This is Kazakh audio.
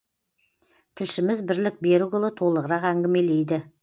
тілшіміз бірлік берікұлы толығырақ әңгімелейді